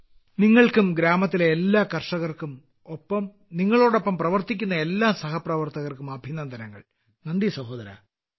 പ്രധാനമന്ത്രി നിങ്ങൾക്കും ഗ്രാമത്തിലെ എല്ലാ കർഷകർക്കും ഒപ്പം നിങ്ങളോടൊപ്പം പ്രവർത്തിക്കുന്ന എല്ലാ സഹപ്രവർത്തകർക്കും അഭിനന്ദനങ്ങൾ നന്ദി സഹോദരാ